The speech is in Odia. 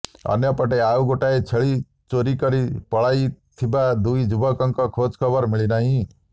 ଅନ୍ୟପଟେ ଆଉ ଗୋଟିଏ ଛେଳି ଚୋରି କରି ପଳାଇଥିବା ଦୁଇ ଯୁବକଙ୍କ ଖୋଜଖବର ମିଳି ନାହିଁ